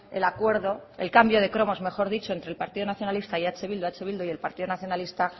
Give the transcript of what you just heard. el acuerdo el cambio de cromos mejor dicho entre el partido nacionalista y eh bildu eh bildu y el partido nacionalista